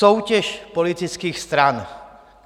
Soutěž politických stran.